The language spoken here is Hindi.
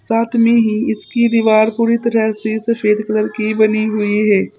साथ में ही इसकी दीवार पूरी तरह से सफेद कलर की बनी हुई है।